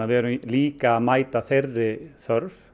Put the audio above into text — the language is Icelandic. við erum líka að mæta þeirri þörf